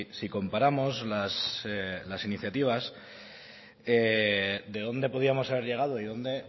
si comparamos las iniciativas de dónde podíamos haber llegado y de donde